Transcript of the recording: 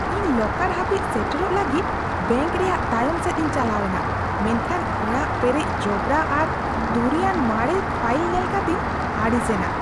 ᱤᱧ ᱞᱚᱠᱟᱨ ᱦᱟᱹᱵᱤᱡ ᱥᱮᱴᱮᱨᱚᱜ ᱞᱟᱹᱜᱤᱫ ᱵᱮᱝᱠ ᱨᱮᱭᱟᱜ ᱛᱟᱭᱚᱢ ᱥᱮᱫ ᱤᱧ ᱪᱟᱞᱟᱣ ᱮᱱᱟ, ᱢᱮᱱᱠᱷᱟᱱ ᱚᱲᱟᱜ ᱯᱮᱨᱮᱡ ᱡᱚᱵᱨᱟ ᱟᱨ ᱫᱷᱩᱲᱤᱭᱟᱱ ᱢᱟᱨᱮ ᱯᱷᱟᱹᱭᱤᱞ ᱧᱮᱞ ᱠᱟᱛᱮᱧ ᱟᱹᱲᱤᱥ ᱮᱱᱟ ᱾